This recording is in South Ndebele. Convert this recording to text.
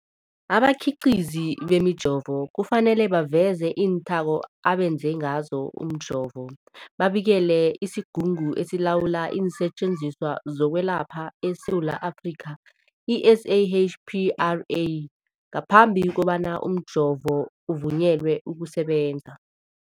Abakhiqizi bemijovo kufanele baveze iinthako abenze ngazo umjovo, babikele isiGungu esiLawula iinSetjenziswa zokweLapha eSewula Afrika, i-SAHPRA, ngaphambi kobana umjovo uvunyelwe ukusebenza.